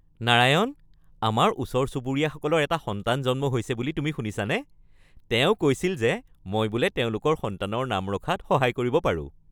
নাৰায়ণ, আমাৰ ওচৰ চুবুৰীয়াসকলৰ এটা সন্তান জন্ম হৈছে বুলি তুমি শুনিছানে? তেওঁ কৈছিল যে মই বোলে তেওঁলোকৰ সন্তানৰ নাম ৰখাত সহায় কৰিব পাৰোঁ।